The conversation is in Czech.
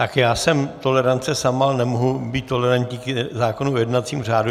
Tak já jsem tolerance sama, ale nemohu být tolerantní k zákonu o jednacím řádu.